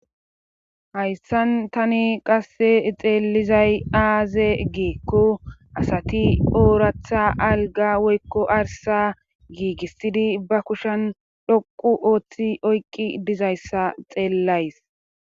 hayssan tani qasse xeelizay aaze giikko asati ooratha alga woykko arsa giigissidi ba kushan dhoqu ooththi oykqi dizayssa xeellays